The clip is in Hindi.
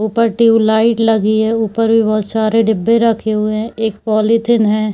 ऊपर ट्यूब लाइट लगी है ऊपर भी बहोत सारे डिब्बे रखे हुए है एक पोलीथिन है।